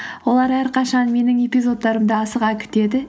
олар әрқашан менің эпизодтарымды асыға күтеді